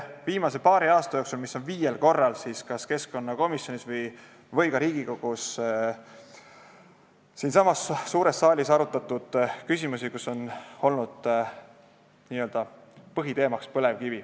Viimase paari aasta jooksul on viiel korral kas keskkonnakomisjonis või ka Riigikogu suures saalis arutatud küsimusi, kus on n-ö põhiteemaks olnud põlevkivi.